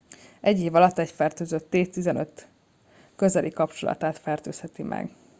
egy év alatt egy fertőzött 10-15 közeli kapcsolatát fertőzheti meg